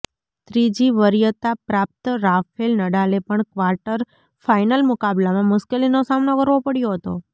ત્રીજી વરિયતા પ્રાપ્ત રાફેલ નડાલે પણ ક્વાર્ટર ફાઇનલ મુકાબલામાં મુશ્કેલીનો સામનો કરવો પડ્યો હતો